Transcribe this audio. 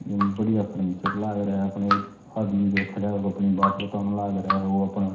बढ़िया फर्नीचर लाग रया हअपणह एक आदमी जो खड़या हो क अपणी बात बताण लाग रया ह वो अपणह--